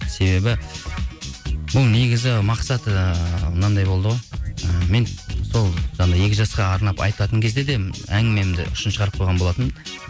себебі бұл негізі мақсаты мынандай болды ғой ы мен сол жаңағы екі жасқа арнап айтатын кезде де әңгімемді ұшын шығарып қойған болатынмын